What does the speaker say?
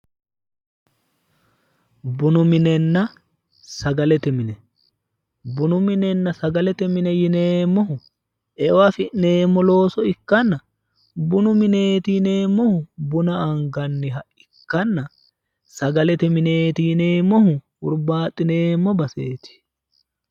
bunu minenna sagalete mine bunu minenna sagalete mine yineemmohu eo afi'neemmo looso ikkanna bunu mineeti yineemmohu buna anganni ikkanna sagalete mineeti yineemmohu hurbaaxxineemmo baseeti.